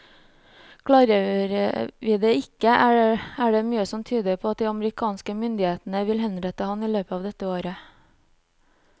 Klarer vi det ikke, er det mye som tyder på at de amerikanske myndighetene vil henrette ham i løpet av dette året.